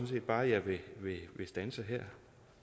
set bare at jeg vil standse her